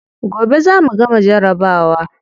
Gobe za mu gama jarabawa.